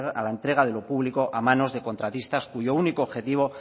a la entrega de lo público a manos de contratistas cuyo único objetivo